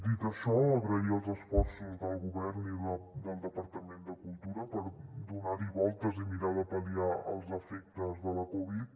dit això agrair els esforços del govern i del departament de cultura per donar hi voltes i mirar de pal·liar els efectes de la covid